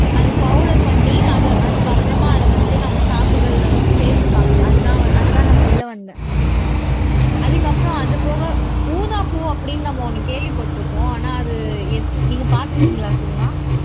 அது பவுடர் பண்ணி அதை அதுக்கு அப்புறமா அதை வந்து நம்ம சாப்பிடுறதுல வந்து சேர்த்துப்பாங்க அதுதான் வ அதுதான் நான் சொல்ல வந்தேன் அதுக்கப்புறம் அது போக ஊதாப்பூ அப்படின்னு நம்ம ஒண்ணு கேள்விப்பட்டிருப்போம் ஆனா அது எது நீங்க பார்த்திருக்கீங்களா சுகுணா